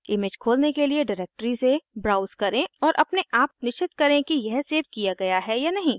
image खोलने के लिए डिरेक्टरी से ब्राउज़ करें और अपने आप निश्चित करें कि यह सेव किया गया है या नहीं